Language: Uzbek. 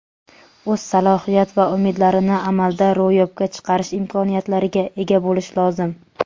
o‘z salohiyat va umidlarini amalda ro‘yobga chiqarish imkoniyatlariga ega bo‘lishi lozim.